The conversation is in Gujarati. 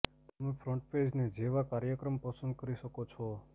તમે ફ્રન્ટપેજને જેવા કાર્યક્રમ પસંદ કરી શકો છો